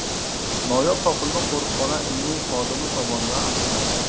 Noyob topilma qo‘riqxona ilmiy xodimi tomonidan aniqlandi.